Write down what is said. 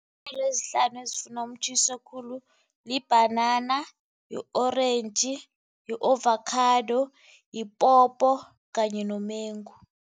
ezihlanu ezifuna umtjhiso khulu libhanana, yi-orentji, yi-ovakhado, yipopo kanye nomengu.